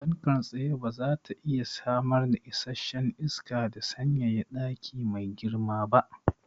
Fankar tsaye bazata iya samar da isasshen isaka da sanyaya daki mai girma ba